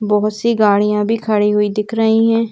बहुत सी गाड़ियां भी खड़ी हुई दिख रही हैं।